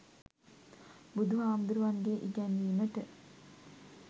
බුදුහාමුදුරුවන්ගෙ ඉගැන්වීමට